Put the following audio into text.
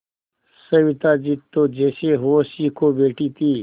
सविता जी तो जैसे होश ही खो बैठी थीं